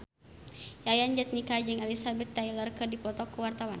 Yayan Jatnika jeung Elizabeth Taylor keur dipoto ku wartawan